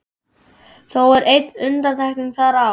Þó er ein undantekning þar á.